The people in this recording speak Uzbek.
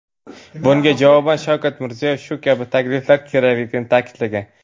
Bunga javoban Shavkat Mirziyoyev shu kabi takliflar kerakligini ta’kidlagan.